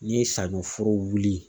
N'i ye saɲɔ foro wuli